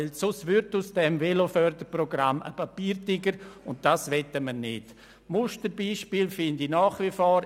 Alle anderen Ziffern bleiben als Motion bestehen.